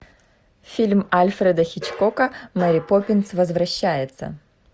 фильм альфреда хичкока мэри поппинс возвращается